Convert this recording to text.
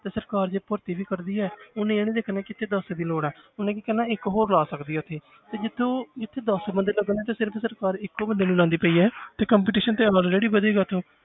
ਸਰਕਾਰ ਜੇ ਭਰਤੀ ਵੀ ਕਰਦੀ ਹੈ ਉਹਨੇ ਇਹ ਨੀ ਦੇਖਣਾ ਕਿ ਇੱਥੇ ਦਸ ਦੀ ਲੋੜ ਹੈ ਉਹਨੇ ਕਰਨਾ ਇੱਕ ਹੋਰ ਲਾ ਸਕਦੀ ਹੈ ਉੱਥੇ ਤੇ ਜਿੱਥੇ ਉਹ ਜਿੱਥੇ ਦਸ ਬੰਦੇ ਲੱਗਣੇ ਉੱਥੇ ਸਿਰਫ਼ ਸਰਕਾਰ ਇੱਕੋ ਬੰਦੇ ਨੂੰ ਲਾਉਂਦੀ ਪਈ ਹੈ ਤੇ competition ਤੇ already ਵਧੇਗਾ ਉੱਥੇ